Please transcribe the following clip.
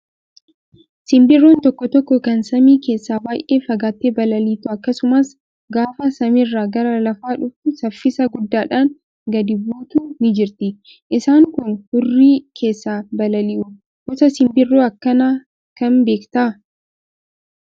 Simbirroon tokko tokko kan samii keessa baay'ee fagaattee balaliitu akkasumas gaafa samiirraa gara lafaa dhufu saffisa guddaadhaan gadi buutu ni jirti. Isaan kun hurrii keessa balali'u. Gosa simbira akkanaa kam beektaa?